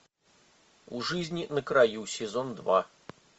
о жизни на краю сезон два